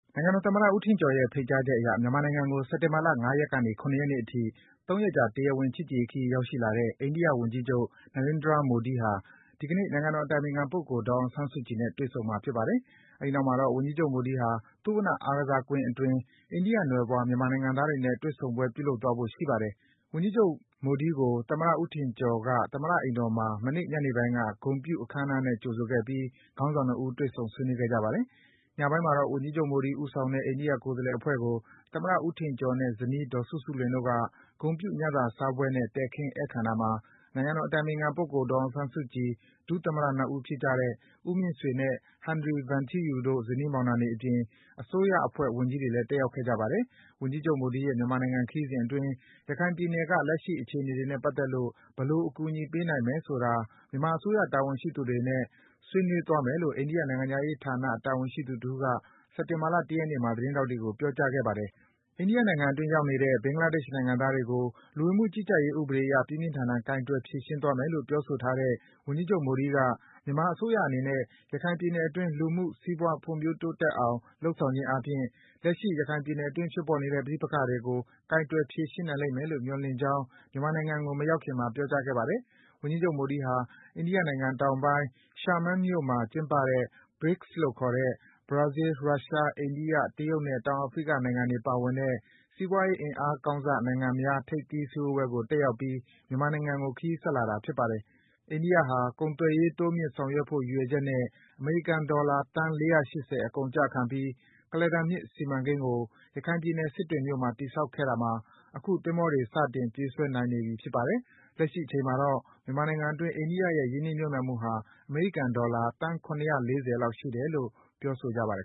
နိုင်ငံတော် သမ္မတ ဦးထင်ကျော်ရဲ့ ဖိတ်ကြားချက် အရ မြန်မာနိုင်ငံကို စက်တင်ဘာလ ၅ ရက်ကနေ ၇ ရက်နေ့အထိ ၃ ရက်ကြာ တရားဝင် ချစ်ကြည်ရေးခရီး ရောက်ရှိလာတဲ့ အိန္ဒိယ ဝန်ကြီးချုပ် Narendra Modi ဟာ ဒီကနေ့ နိုင်ငံတော် အတိုင်ပင်ခံပုဂ္ဂိုလ် ဒေါ်အောင်ဆန်းစုကြည်နဲ့ တွေ့ဆုံမှာ ဖြစ်ပါတယ်။ အဲဒီနောက်မှာတော့ ဝန်ကြီးချုပ် မိုဒီဟာ သုဝဏ္ဏ အားကစားကွင်း အတွင်း အိန္ဒိယနွယ်ဖွား၊ မြန်မာနိုင်ငံသားတွေနဲ့ တွေ့ဆုံပွဲ ပြုလုပ်သွားဖို့ ရှိပါတယ်။ ဝန်ကြီးချုပ် Narendra Modi ကို သမ္မတ ဦးထင်ကျော် သမ္မတ အိမ်တော်မှာ မနေ့ ညနေပိုင်းက ဂုဏ်ပြု အခမ်းအနားနဲ့ ကြိုဆိုခဲ့ပြီး ခေါင်းဆောင် ၂ ဦး တွေ့ဆုံ ဆွေးနွေးခဲ့ကြပါတယ်။ ညပိုင်းမှာတော့ ဝန်ကြီးချုပ် မိုဒီဦးဆောင်တဲ့ အိန္ဒိယ ကိုယ်စားလှယ် အဖွဲ့ကို သမ္မတ ဦးထင်ကျော်နဲ့ ဇနီး ဒေါ်စုစုလွင်တို့က ဂုဏ်ပြု ညစာစားပွဲနဲ့ တည်ခင်း ဧည့်ခံတာမှာ နိုင်ငံတော် အတိုင်ပင်ခံပုဂ္ဂိုလ် ဒေါ်အောင်ဆန်းစုကြည်၊ ဒုသမ္မတ ၂ ဦးဖြစ်ကြတဲ့ ဦးမြင့်ဆွေနဲ့ ဟန်နရီ ဗန်ထီးယူတို့ ဇနီးမောင်နှံတွေအပြင်၊ အစိုးရအဖွဲ့ ဝန်ကြီးတွေလည်း တက်ရောက်ခဲ့ကြပါတယ်။ ဝန်ကြီးချုပ် မိုဒီရဲ့မြန်မာနိုင်ငံ ခရီးစဉ်အတွင်း ရခိုင်ပြည်နယ်က လက်ရှိ အခြေအနေတွေနဲ့ ပတ်သက်ပြီး ဘယ်လို အကူအညီပေးနိုင် မယ်ဆိုတာ မြန်မာအစိုးရ တာဝန်ရှိသူတွေနဲ့ ဆွေးနွေးသွားမယ်လို့ အိန္ဒိယ နိုင်ငံခြားရေးဌာန တာဝန်ရှိသူတဦးက စက်တင်ဘာလ ၁ ရက်နေ့မှာ သတင်းထောက်တွေကို ပြောကြားခဲ့ပါတယ်။ အိန္ဒိယနိုင်ငံအတွင်း ရောက်နေတဲ့ ဘင်္ဂလာဒေ့ရှ် နိုင်ငံသားတွေကို လူဝင်မှုကြီးကြပ်ရေး ဥပဒေအရ ပြင်းပြင်းထန်ထန် ကိုင်တွယ် ဖြေရှင်းသွားမယ်လို့ ပြောဆိုထားတဲ့ ဝန်ကြီးချုပ် မိုဒီက မြန်မာအစိုးရအနေနဲ့ ရခိုင်ပြည်နယ်အတွင်း လူမှု စီးပွား ဖွံ့ဖြိုးတိုးတက်အောင် လုပ်ဆောင်ခြင်းအားဖြင့် လက်ရှိ ရခိုင်ပြည်နယ်အတွင်း ဖြစ်ပေါ်နေတဲ့ ပဋိပက္ခတွေကို ကိုင်တွယ် ဖြေရှင်းနိုင်လိမ့်မယ်လို့ မျှော်လင့်ကြောင်း မြန်မာနိုင်ငံကို မရောက်ခင်မှာ ပြောကြားခဲ့ပါတယ်။ ဝန်ကြီးချုပ် မိုဒီဟာ တရုတ်နိုင်ငံ တောင်ပိုင်း Xiamen မြို့မှာ ကျင်းပတဲ့ BRICS လို့ခေါ်တဲ့ ဘရာဇီးလ်၊ ရုရှား၊ အိန္ဒိယ၊ တရုတ်နဲ့ တောင်အာဖရိက နိုင်ငံတွေ ပါဝင်တဲ့ စီးပွားရေး အင်အားကောင်းစ နိုင်ငံများ ထိပ်သီး စည်းဝေးပွဲကို တက်ရောက်ပြီး မြန်မာနိုင်ငံကို ခရီးဆက်လာတာ ဖြစ်ပါတယ်။ အိန္ဒိယဟာ ကုန်သွယ်ရေး တိုးမြင့် ဆောင်ရွက်ဖို့ ရည်ရွယ်ချက်နဲ့ အမေရိကန် ဒေါ်လာ သန်း ၄၈၀ အကုန်အကျခံပြီး ကုလားတန်မြစ် စီမံကိန်းကို ရခိုင်ပြည်နယ်၊ စစ်တွေမြို့မှာ တည်ဆောက်ခဲ့တာမှာ အခု သင်္ဘောတွေ စတင် ပြေးဆွဲနိုင်နေပြီ ဖြစ်ပါတယ်။ လက်ရှိ အချိန်မှာတော့ မြန်မာနိုင်ငံအတွင်း အိန္ဒိယရဲ့ ရင်းနှီးမြုပ်နံှမှုဟာ အမေရိကန် ဒေါ်လာ သန်း ၇၄၀ လောက် ရှိတယ်လို့ ဆိုပါတယ်